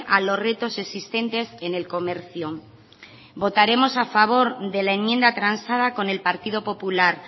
a los retos existentes en el comercio votaremos a favor de la enmienda transada con el partido popular